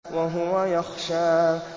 وَهُوَ يَخْشَىٰ